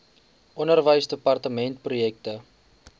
onderwysdepartementprojekte